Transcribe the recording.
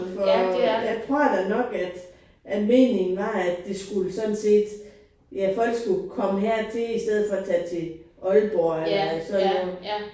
For jeg tror da nok at at meningen var at det skulle sådan set ja folk skulle komme hertil i stedet for at tage til Aalborg eller sådan noget